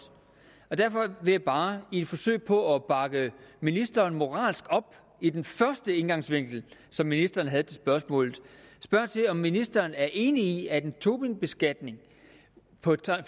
derfor vil jeg bare i et forsøg på at bakke ministeren moralsk op i den første indgangsvinkel som ministeren havde til spørgsmålet spørge om ministeren er enig i at en tobinbeskatning på